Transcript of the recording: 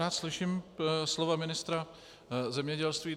Rád slyším slova ministra zemědělství.